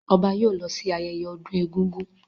Ọba yóò lọ sí ayẹyẹ ọdún egúngún.